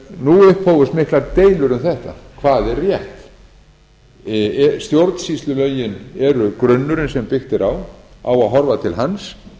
nú upphófust miklar deilur um þetta hvað er rétt stjórnsýslulögin eru grunnurinn sem byggt er á á að horfa til hans